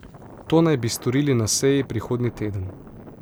To naj bi storili na seji prihodnji teden.